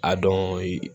A dɔni